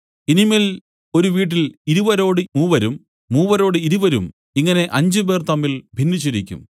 ഇനി മേൽ ഒരു വീട്ടിൽ ഇരുവരോട് മൂവരും മൂവരോടു ഇരുവരും ഇങ്ങനെ അഞ്ചുപേർ തമ്മിൽ ഭിന്നിച്ചിരിക്കും